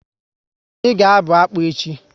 Anyị ga abụ akpu echi